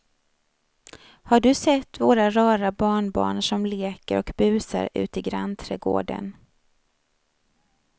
Har du sett våra rara barnbarn som leker och busar ute i grannträdgården!